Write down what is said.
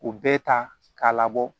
U bɛɛ ta k'a labɔ